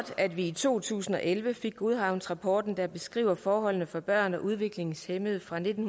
at vi i to tusind og elleve fik godhavnsrapporten der beskriver forholdene for børn og udviklingshæmmede fra nitten